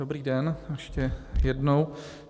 Dobrý den ještě jednou.